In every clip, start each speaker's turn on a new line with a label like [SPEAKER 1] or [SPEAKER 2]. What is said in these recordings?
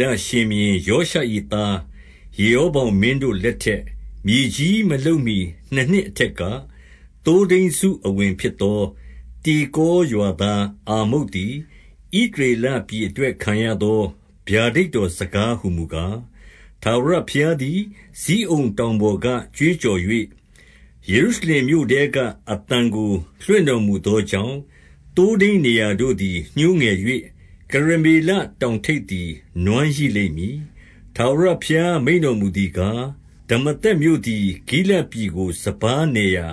[SPEAKER 1] လရှင်ဘုရင်ယောရှ၏သား ယေရောဗောင်မင်းတို့လက်ထက်၊ မြေကြီး မလှုပ်မှီနှစ်နှစ် အထက်က၊ သိုးထိန်းစုအဝင်ဖြစ်သော တေကောရွာသားအာမုတ်သည် ဣသရေလပြည်အတွက် ခံရသော ဗျာဒိတ်တော်စကားဟူမူကား၊ 2 ထာဝရဘုရားသည် ဇိအုန်တောင်ပေါ်ကကြွေးကြော်၍၊ ယေရုရှလင်မြို့ထဲကအသံကို လွှင့်တော်မူသော ကြောင့်၊ သိုးထိန်းနေရာတို့သည် ညှိုးငယ်၍၊ ကရမေလတောင်ထိပ်သည် နွမ်းရိလိမ့်မည်။ 3 ထာဝရဘုရား မိန့်တော်မူသည်ကား၊ ဒမာသက်မြို့သည် ဂိလဒ်ပြည်ကို စပါးနယ်ရာ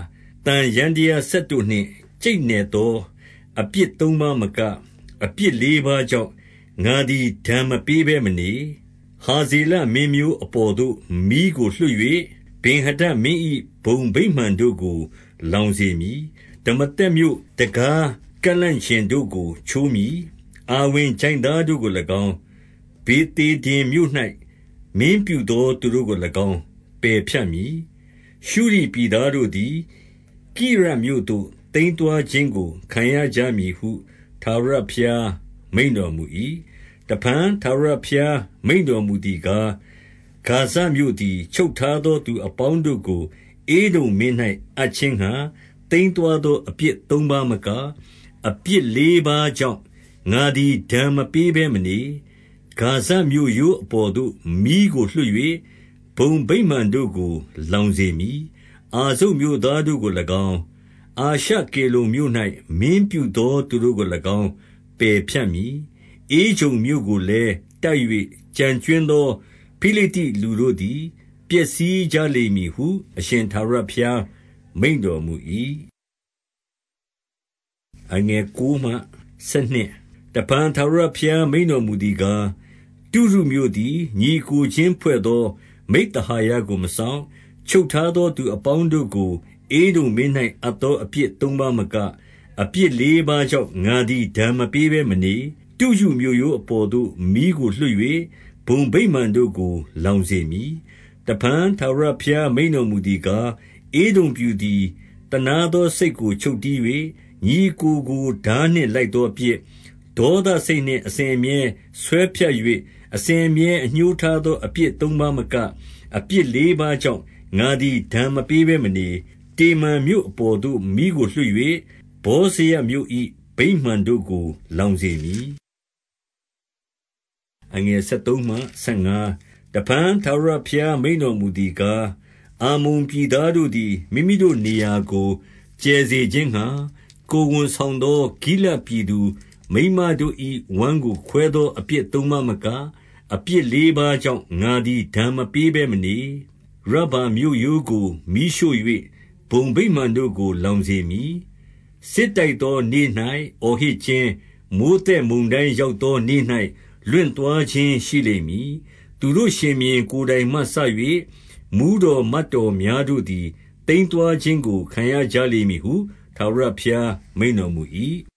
[SPEAKER 1] သံယန္တရားစက်တို့ နှင့် ကြိတ်နယ်သောအပြစ်သုံးပါးမက၊ အပြစ်လေးပါးကြောင့် ငါသည် ဒဏ်မပေးဘဲမနေ။ 4 ဟာဇေလမင်းမျိုးအပေါ်သို့ မီးကိုလွှတ်၍၊ ဗင်္ဟာဒဒ်မင်း၏ဘုံဗိမာန်တို့ကို လောင်စေမည်။ 5 ဒမာသက်မြို့ တံခါးကန့်လန့်ကျင်တို့ကိုချိုးမည်။ အာဝင်ချိုင့်သားတို့ကို၎င်း၊ ဗေသေဒင်မြို့၌ မင်းပြုသော သူတို့ကို၎င်း ပယ်ဖြတ်မည်။ ရှုရ်ပြည်သားတို့သည် ကိရမြို့သို့ သိမ်းသွားခြင်းကိုခံရကြမည်ဟု ထာဝရဘုရား မိန့်တော်မူ၏။ 6 တဖန်ထာဝရဘုရား မိန့်တော်မူသည်ကား၊ ဂါဇမြို့သည် ချုပ်ထားသောသူအပေါင်းတို့ကို ဧဒုံမင်း၌ အပ်ခြင်းငှါ သိမ်းသွားသောအပြစ်သုံးပါးမက၊ အပြစ်လေးပါးကြောင့် ငါသည် ဒဏ်မပေးဘဲမနေ။ 7 ဂါဇမြို့ရိုးအပေါ်သို့ မီးကိုလွှတ်၍ ဘုံဗိမာန်တို့ကို လောင်စေမည်။ 8 အာဇုတ်မြို့သားတို့ကို၎င်း၊ အာရှကေလုန်မြို့၌ မင်းပြုသောသူတို့ကို၎င်း ပယ်ဖြတ်မည်။ ဧကြုန်မြို့ကို လည်း တိုက်၍ ကျန်ကြွင်းသော ဖိလိတ္တိလူတို့သည် ပျက်စီးကြလိမ့်မည်ဟု အရှင်ထာဝရဘုရား မိန့်တော်မူ၏။ 9 တဖန် ထာဝရဘုရားမိန့်တော်မူသည်ကား၊ တုရုမြို့သည် ညီအစ်ကိုချင်းဖွဲ့သောမိဿဟာယကို မစောင့်၊ ချုပ်ထားသော သူအပေါင်းတို့ကို ဧဒုံမင်း၌အပ်သောအပြစ်သုံးပါးမက၊ အပြစ်လေးပါးကြောင့် ငါသည် ဒဏ် မပေးဘဲမနေ။ 10 တုရုမြို့ရိုးအပေါ်သို့ မီးကိုလွှတ်၍ ဘုံဗိမာန်တို့ကို လောင်စေမည်။ 11 တဖန် ထာဝရဘုရားမိန့်တော်မူသည်ကား၊ ဧဒုံပြည်သည် သနားသောစိတ်ကိုချုပ်တည်း၍၊ ညီအစ်ကို ကို ထားနှင့်လိုက်သောအပြစ်၊ ဒေါသစိတ်နှင့် အစဉ်အမြဲဆွဲဖြတ်၍ အစဉ်အမြဲအငြိုးထားသော အပြစ်သုံးပါးမက၊ အပြစ်လေးပါးကြောင့် ငါသည်ဒဏ်မပေးဘဲမနေ။ 12 တေမန်မြို့အပေါ်သို့ မီးကိုလွှတ်၍၊ ဗောဇရမြို့၏ ဘုံဗိမာန်တို့ကို လောင်စေမည်။ 13 တဖန် ထာဝရဘုရားမိန့်တော်မူသည်ကား၊ အမ္မုန်ပြည်သားတို့သည် မိမိတို့နေရာကို ကျယ်စေခြင်းငှါ၊ ကိုယ်ဝန်ဆောင်သော ဂိလဒ်ပြည်သူမိန်းမတို့၏ ဝမ်းကိုခွဲသောအပြစ်သုံးပါးမက၊ အပြစ်လေးပါးကြောင့် ငါသည် ဒဏ်မပေးဘဲမနေ။ 14 ရဗ္ဗာမြို့ရိုးကို မီးရှို့၍ ဘုံဗိမာန်တို့ကို လောင်စေမည်။ စစ်တိုက်သောနေ့၌ အော်ဟစ်ခြင်း၊ မိုဃ်းသက် မုန်တိုင်းရောက်သောနေ့၌ လွင့်သွားခြင်း ရှိလိမ့်မည်။ 15 သူတို့ရှင်ဘုရင် ကိုယ်တိုင်မှစ၍၊ မှူးတော်မတ်တော်များတို့သည် သိမ်းသွားခြင်းကို ခံရကြလိမ့်မည်ဟု ထာဝရဘုရား မိန့်တော်မူ၏။